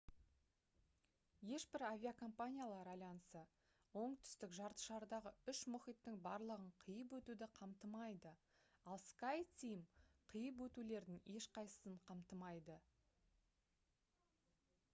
ешбір авиакомпаниялар альянсы оңтүстік жартышардағы үш мұхиттың барлығын қиып өтуді қамтымайды ал skyteam қиып өтулердің ешқайсысын қамтымайды